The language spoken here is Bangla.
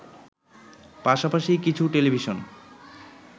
পাশাপাশি কিছু টেলিভিশন